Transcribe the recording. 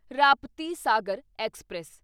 Raptisagar express